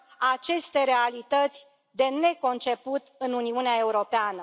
aceste realități de neconceput în Uniunea Europeană.